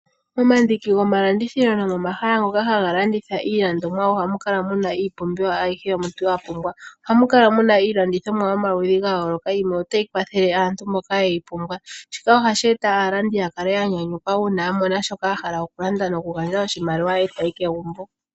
Momandiki gomalandithilo nomahala gii landomwa oha mu kala muna iipumbiwa ayihe omuntu wapumbwa. Oha mu kala muna iilandithomwa yomaludhi gayoloka. Yimwe otayi kwathele aantu mboka yeyi pumbwa. Shika ohashi eta aalandi ya nyanyukwe una ya mona shoka ya hala oku landa noku gandja oshimaliwa etayi kegumbo.